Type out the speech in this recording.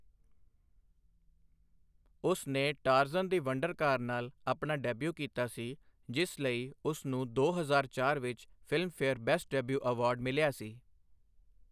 ਉਸ ਨੇ 'Tarzan the wonder car' ਨਾਲ ਆਪਣਾ ਡੈਬਿਊ ਕੀਤਾ ਸੀ, ਜਿਸ ਲਈ ਉਸ ਨੂੰ ਦੋ ਹਜ਼ਾਰ ਚਾਰ ਵਿੱਚ ਫਿਲਮਫੇਅਰ ਬੈਸਟ ਡੈਬਿਊ ਐਵਾਰਡ ਮਿਲਿਆ ਸੀ।